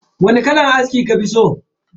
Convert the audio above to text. Wani kalan aski kafi so?